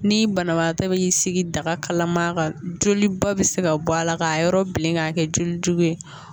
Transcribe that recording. Ni banabaatɔ be sigi daga kalama ka joli bɔ bɛ se ka bɔ a la k'a yɔrɔ bilen k'a kɛ jolijugu ye